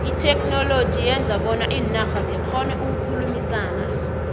itheknoloji yenza bona iinarha zikgone ukukhulumisana